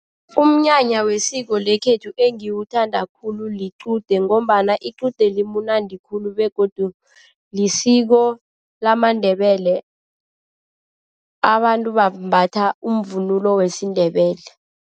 Umnyanya wesiko lekhethu engiwuthanda khulu liqude ngombana iqude limnandi khulu begodu lisiko lamaNdebele abantu bambatha umvunulo wesiNdebele.